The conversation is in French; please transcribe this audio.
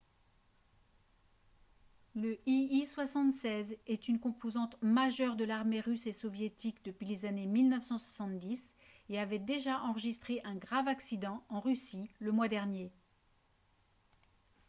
le il-76 est une composante majeure de l'armée russe et soviétique depuis les années 1970 et avait déjà enregistré un grave accident en russie le mois dernier